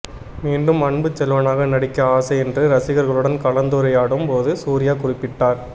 மீண்டும் அன்புச்செல்வனாக நடிக்க ஆசை என்று ரசிகர்களுடன் கலந்துரையாடும் போது சூர்யா குறிப்பிட்டார்